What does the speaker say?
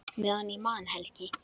Meðan ég man, Helgi.